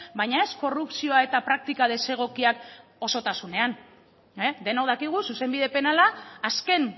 baina ez korrupzioa eta praktika desegokiak osotasunean denok dakigu zuzenbide penala azken